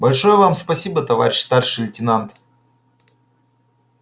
большое вам спасибо товарищ старший лейтенант